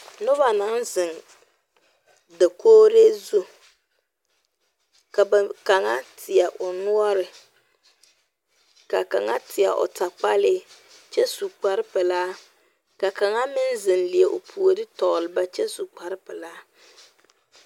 Noba naŋ zeŋ dakori zu, ka ba kaŋa teɛ o noɔre, ka kaŋa teɛ o takpale, kyɛ su kpare pɛlaa ka kaŋa meŋ zeŋ leɛ o puori tɔgeli ba kyɛ su kpare pelaa